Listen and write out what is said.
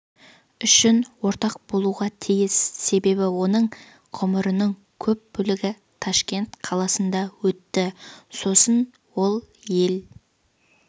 үшін ортақ болуға тиіс себебі оның ғұмырының көп бөлігі ташкент қаласында өтті сосын ол ел